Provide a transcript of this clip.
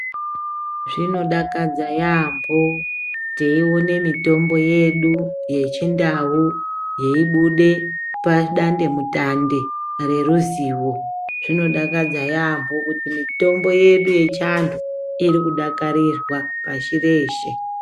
Zvinodakadza yambo, teyiwone mitombo yedu yechindau iyibude padande mutande ngeruzivo. Zvinodakadza yambo, kuti mitombo yedu yechantu irikudakarirwa pashi reshe.